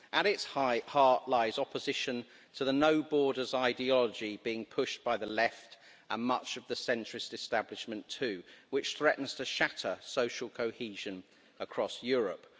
At its heart lies opposition to the no borders' ideology being pushed by the left and much of the centrist establishment too, which threatens to shatter social cohesion across Europe.